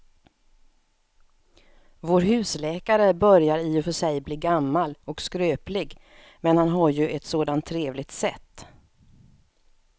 Vår husläkare börjar i och för sig bli gammal och skröplig, men han har ju ett sådant trevligt sätt!